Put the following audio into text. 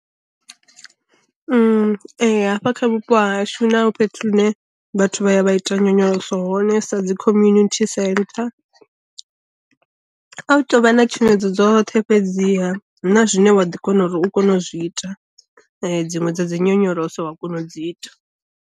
Ee hafha kha vhupo ha hashu huna fhethu hune vhathu vha ya vha ita nyonyoloso hone sa dzi community centre. A hu tou vha na tshumedzo dzoṱhe fhedziha huna zwine wa ḓi kona uri u kone u zwi ita, dziṅwe dza dzi nyonyoloso wa kona u dzi ita.